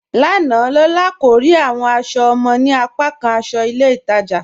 Lána, Lólà kò le rí awọn aṣọ ọmọ ni apàkàn aṣọ ilẹ̀ Ìtaja